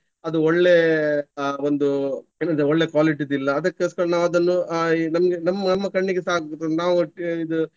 ಅದು ಒಳ್ಳೆ ಅಹ್ ಒಂದು ಏನಂದ್ರೆ ಒಳ್ಳೆ quality ದ್ದು ಇಲ್ಲ. ಅದಕ್ಕೋಸ್ಕರ ನಾವು ಅದನ್ನು ಅಹ್ ನಮ್ಗೆ ನಮ್ಮ ಕಣ್ಣಿಗೆಸ ಆಗ್ಬಹುದು. ನಾವು ಒಟ್ಟು ಇದು.